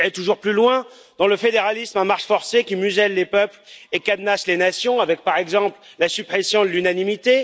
Vous irez toujours plus loin dans le fédéralisme à marche forcée qui muselle les peuples et cadenasse les nations avec, par exemple, la suppression de l'unanimité.